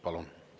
Palun!